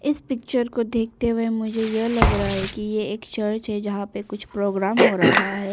इस पिच्चर को देखते हुए मुझे यह लग रहा है कि यह एक चर्च है जहां पे कुछ प्रोग्राम हो रहा है।